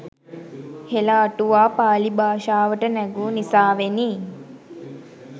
හෙළ අටුවා පාළි භාෂාවට නැගූ නිසාවෙනි